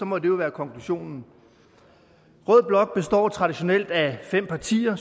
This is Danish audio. må det jo være konklusionen rød blok består traditionelt af fem partier